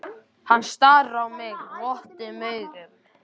Hann starir á mig votum augum.